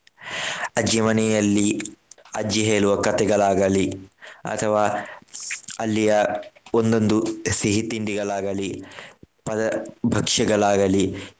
ಅಜ್ಜಿ ಮನೆಯಲ್ಲಿ ಅಜ್ಜಿ ಹೇಳುವ ಕಥೆಗಳಾಗಲಿ ಅಥವಾ ಅಲ್ಲಿಯ ಒಂದೊಂದು ಸಿಹಿ ತಿಂಡಿಗಳಾಗಲಿ ಪದ ಭಕ್ಷ್ಯಗಳಾಗಲಿ .